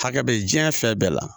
Hakɛ bɛ diɲɛ fɛn bɛɛ la